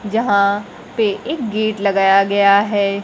यहां पे एक गेट लगाया गया है।